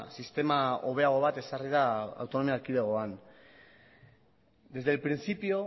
sistema hobeago bat ezarri da autonomia erkidegoan desde el principio